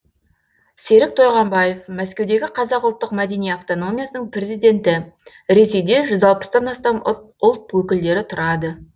серік тойғамбаев мәскеудегі қазақ ұлттық мәдени автономиясының президенті ресейде жүз алпыстан астам ұлт өкілдері тұрады